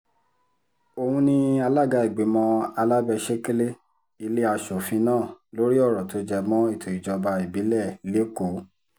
òun ni alága ìgbìmọ̀ alábẹ́-sẹ̀kẹ̀lé ilé asòfin náà lórí ọ̀rọ̀ tó jẹ mọ́ ètò ìjọba ìbílẹ̀ lẹ́kọ̀ọ́